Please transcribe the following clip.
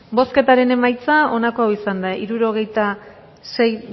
bozketaren emaitza onako izan da hirurogeita sei